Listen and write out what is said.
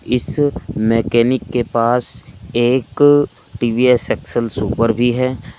इस मैकेनिक के पास एक टी_वी_एस एक्स_एल सुपर भी है।